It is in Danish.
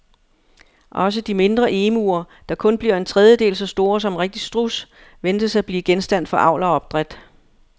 Også de mindre emuer, der kun bliver en tredjedel så store som en rigtig struds, ventes at blive genstand for avl og opdræt.